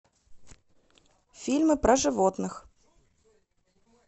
фильмы про животных